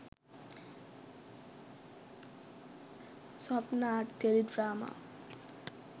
swapna teledrama